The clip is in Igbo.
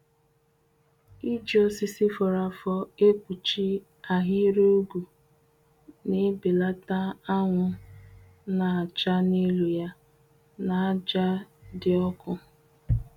Iji osisi fọrọ afọ ekpuchi ahịrị ugwu n’ebelata anwụ n’acha n’elu ya na aja di ọkụ.